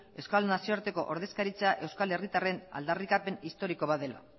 euskal nazioarteko ordezkaritza euskal herritarren aldarrikapen historiko bat dela